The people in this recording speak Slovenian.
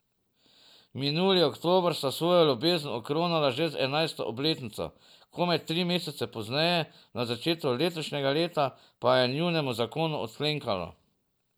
Minuli oktober sta svojo ljubezen okronala že z enajsto obletnico, komaj tri mesece pozneje, na začetku letošnjega leta, pa je njunemu zakonu odklenkalo.